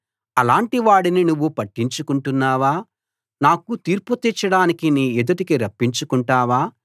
అలాంటి వాడిని నువ్వు పట్టించుకుంటున్నావా నాకు తీర్పు తీర్చడానికి నీ ఎదుటికి రప్పించుకుంటావా